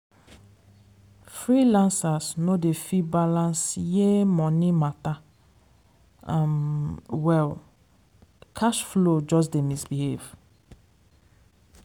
freelancers no de fit balance year money matter um well. cash flow just dey misbehave.